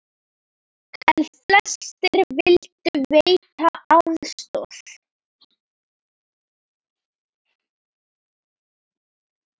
En flestir vildu veita aðstoð.